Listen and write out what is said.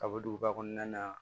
Kaburuba kɔnɔna na